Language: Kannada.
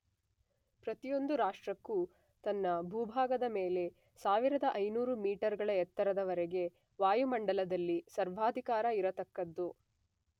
ಪ್ರತಿಯೊಂದು ರಾಷ್ಟ್ರಕ್ಕೂ ತನ್ನ ಭೂಭಾಗದ ಮೇಲೆ 1500 ಮೀಟರ್ ಗಳ ಎತ್ತರದವರೆಗೆ ವಾಯುಮಂಡಲದಲ್ಲಿ ಸರ್ವಾಧಿಕಾರ ಇರತಕ್ಕದ್ದು.